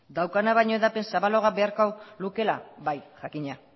daukan hedapena baina zabalagoa beharko lukeela bai jakina